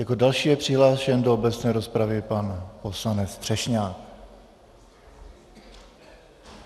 Jako další je přihlášen do obecné rozpravy pan poslanec Třešňák.